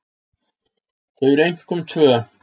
Þau eru einkum tvö.